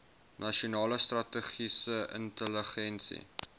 nasionale strategiese intelligensie